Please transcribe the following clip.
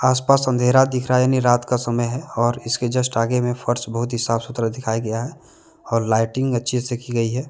आस पास अंधेरा दिख रहा है यानी रात का समय है और इसके जस्ट आगे में फर्श बहुत ही साफ सुथरा दिखाया गया है और लाइटिंग अच्छे से की गई है।